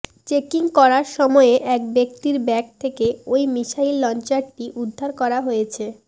checking করার সময়ে এক ব্যক্তির ব্যাগ থেকে ওই মিসাইল লঞ্চারটি উদ্ধার করা হয়েছে